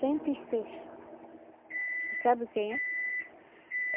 cento e seis. Vocês sabem quem é?